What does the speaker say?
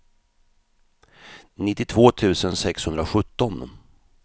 nittiotvå tusen sexhundrasjutton